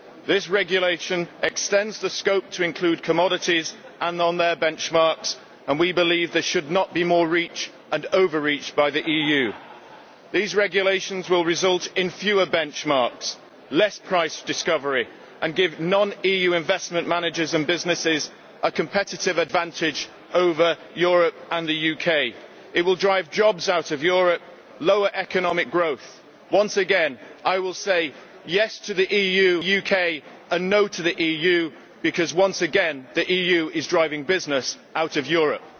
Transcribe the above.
This regulation extends the scope to include commodities and on their benchmarks and we believe there should not be more reach and over reach by the EU. These regulations will result in fewer benchmarks and less price discovery, and give non EU investment managers and businesses a competitive advantage over Europe and the UK. It will drive jobs out of Europe and lower economic growth. Once again, I will say yes' to the UK and no' to the EU, because once again, the EU is driving business out of Europe.